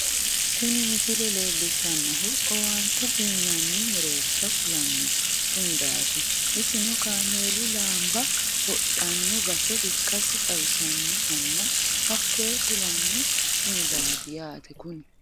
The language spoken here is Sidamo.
tini misile leellishshannohu owaante uyiinanni mereersha kulano sumudaati isino kameelu laanba wodhanno base ikkase xawisannohonna hakoye kulanno sumudaai yaate kuni